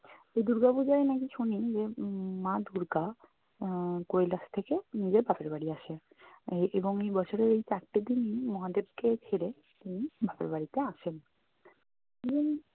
তো দূর্গা পূজায় নাকি শুনি যে উম মা দূর্গা আহ কৈলাশ থেকে নিজের বাপের বাড়ি আসে। আহ এবং এই বছরের চারটে দিনই মহাদেব কে ছেড়ে তিনি বাপের বাড়িতে আসেন।